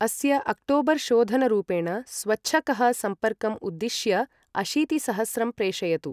अस्य ओक्टोबर् शोधनरुपेण स्वच्छकः सम्पर्कम् उद्दिश्य अशीतिसहस्रं प्रेषयतु।